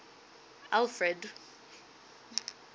alfred